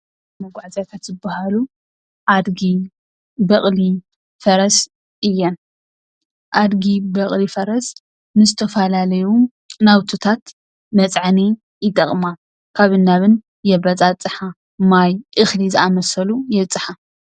መጓዓዝያታት ዝብሃሉ ኣድጊ፣ በቅሊ፣ ፈረስ እየን፡፡ ኣድጊ፣ በቅሊ፣ ፈረስ ንዝተፈላለዩ ናውትታት መፅዓኒ ይጠቅማ ካብን ናብን የበፃፃሓ ማይ፣ እክሊ ዝኣምሳሰሉ የብፅሓ።